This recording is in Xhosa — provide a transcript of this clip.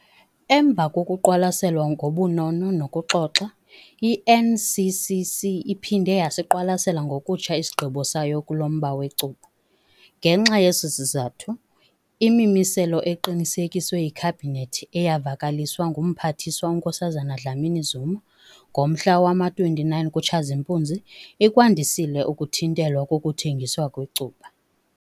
Emva kokuqwalaselwa ngobunono nokuxoxa, i-NCCC iphinde yasiqwalasela ngokutsha isigqibo sayo kulo mba wecuba. Ngenxa yeso sizathu, imimiselo eqinisekiswe yiKhabhinethi eyavakaliswa nguMphathiswa uNkosazana Dlamini-Zuma ngomhla wama-29 kuTshazimpuzi ikwandisile ukuthintelwa kokuthengiswa kwecuba.